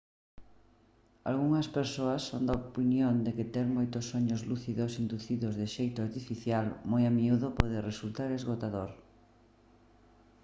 algunhas persoas son da opinión de que ter moitos soños lúcidos inducidos de xeito artificial moi a miúdo pode resultar esgotador